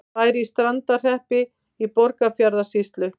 Bær í Strandarhreppi í Borgarfjarðarsýslu.